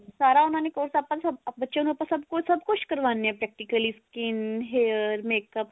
ਸਾਰਾ ਉਹਨਾ ਨੇ course ਆਪਾਂ ਸਭ ਬੱਚਿਆਂ ਸਭ ਕੁਛ ਸਭ ਕੁਛ ਕਰਵਾਉਣੇ ਹਾਂ practically skin hair makeup